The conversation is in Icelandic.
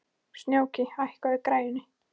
Snjóki, hækkaðu í græjunum.